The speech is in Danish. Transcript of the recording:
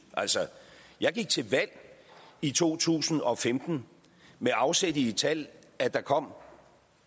jeg gik til valg i to tusind og femten med afsæt i det tal at der kom